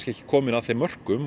ekki komin að þeim mörkum